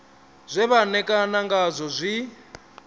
zwe vha ṋekana ngazwo zwi